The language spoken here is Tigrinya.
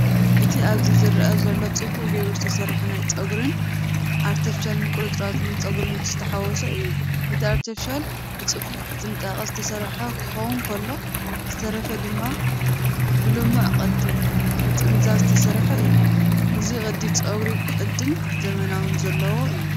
እቲ ኣብዚ ዝርአ ዘሎ ጽቡቕ ጌሩ ዝተሰርሐ ናይ ፀጉሪ ኣርቴፍሻል ቁርጽራጽ ጸጉርን ዝተሓዋወሰ እዩ። እቲ ኣርቴፍሻል ብጽፉፍን ብጥንቃቐን ዝተሰርሐ ክኸውን ከሎ፡ ዝተረፈ ጸጉሪ ድማ ብልሙዕ ቅዲ ምጥምዛዝ ዝተሰርሐ እዩ። እዚ ቅዲ ጸጉሪ ቅዲን ዘመናውን ዘለዎ እዩ።